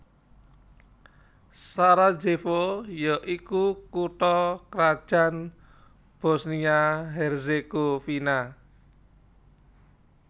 Sarajevo ya iku kutha krajan Bosnia Herzegovina